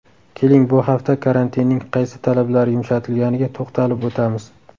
Keling, bu hafta karantinning qaysi talablari yumshatilganiga to‘xtalib o‘tamiz.